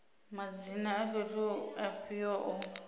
madzina a fhethu afhio o